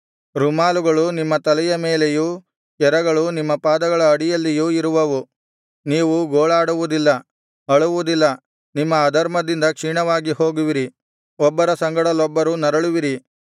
ರುಮಾಲುಗಳು ನಿಮ್ಮ ತಲೆಯ ಮೇಲೆಯೂ ಕೆರಗಳು ನಿಮ್ಮ ಪಾದಗಳ ಅಡಿಯಲ್ಲಿಯೂ ಇರುವವು ನೀವು ಗೋಳಾಡುವುದಿಲ್ಲ ಅಳುವುದಿಲ್ಲ ನಿಮ್ಮ ಅಧರ್ಮದಿಂದ ಕ್ಷೀಣವಾಗಿ ಹೋಗುವಿರಿ ಒಬ್ಬರ ಸಂಗಡಲೊಬ್ಬರು ನರಳುವಿರಿ